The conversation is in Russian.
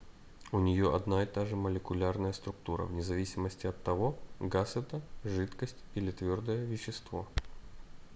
у нее одна и та же молекулярная структура вне зависимости от того газ это жидкость или твердое вещество